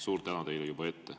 Suur tänu teile juba ette.